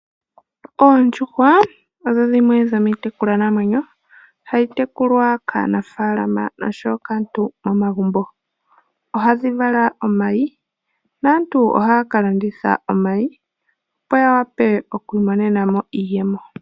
Oondjuhwa odho dhimwe dhomiitekulwa namwenyo hayi tekulwa kaanafaalama oshowo kaantu omagumbo . Ohadhi vala omayi naantu ohaya ka landitha omayi opo ya wape oku imonena mo iiyemo .